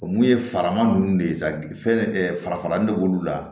O mun ye farama nunnu de ye sa fɛn farafaralanin de b'olu la